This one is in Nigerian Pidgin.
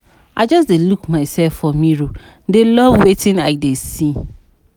I just dey look myself for mirror dey love wetin I dey see